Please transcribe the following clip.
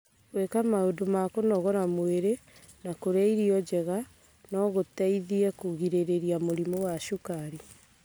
gwĩka maũndũ ma kũnogora mwĩrĩ na kũrĩa irio njega no gũteithie kũgirĩrĩria mũrimũ wa cukari.